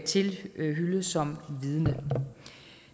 tilhyllet som vidne